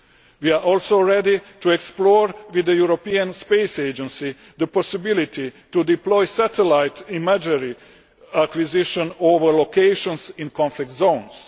We are also ready to explore, with the European Space Agency, the possibility to deploy satellite imagery acquisition over locations in conflict zones.